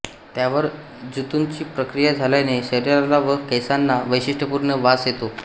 त्यावर जंतूंची प्रक्रिया झाल्याने शरीराला व केसांना वैशिष्ट्यपूर्ण वास येतो